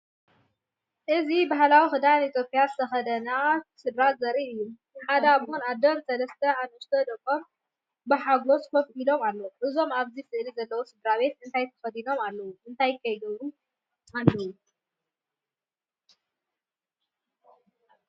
እዚ ባህላዊ ክዳን ኢትዮጵያ ዝተኸድነ ስድራ ዘርኢ እዩ። ሓደ ኣቦን ኣደን ሰለስተ ንኣሽቱ ደቆምን ብሓጎስ ኮፍ ኢሎም ኣለዉ። እዞም ኣብዚ ስእሊ ዘለው ስድራቤት እንታይ ተከዲኖም ኣለው እንታይ ከ ይገብሩ ኣለው?